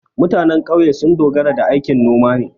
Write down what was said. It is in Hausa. Mutanen ƙauye sun dogara da aikin noma ne.